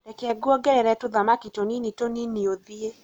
reke ngũongerere tũthamaki tũnini tũnini ũthiĩ